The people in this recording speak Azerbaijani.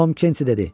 Tom Kenti dedi.